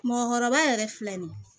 Mɔgɔkɔrɔba yɛrɛ filɛ nin ye